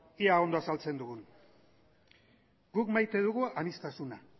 ea ondo azaltzen dugun guk maite dugu aniztasuna